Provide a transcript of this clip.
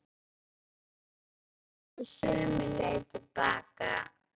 Síðan barst svarið sömu leið til baka.